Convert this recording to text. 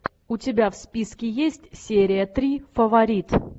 у тебя в списке есть серия три фаворит